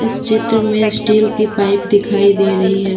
इस चित्र में स्टील की पाइप दिखाई दे रही है।